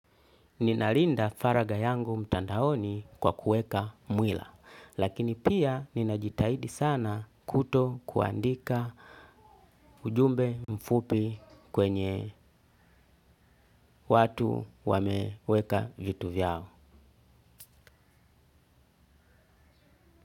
Ninalinda faraga yangu mtandaoni kwa kuweka nywila lakini pia ninajitahidi sana kuto kuandika ujumbe mfupi kwenye watu wameweka vitu vyao.